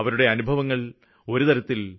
അവരുടെ കാര്യങ്ങള് കേള്ക്കാനുള്ള അവസരം ലഭിച്ചു